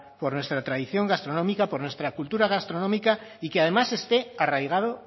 por nuestra tradición gastronómica por nuestra cultura gastronómica y que además este arraigado